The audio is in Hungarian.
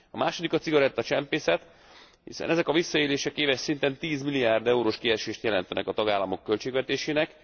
A második a cigarettacsempészet, hiszen ezek a visszaélések éves szinten 10 milliárd eurós kiesést jelentenek a tagállamok költségvetésének.